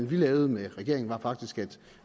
vi lavede med regeringen var faktisk at